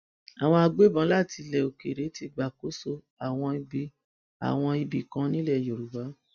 àwọn agbébọn láti ilẹ òkèèrè ti gbàkóso àwọn ibì àwọn ibì kan nílẹ yorùbá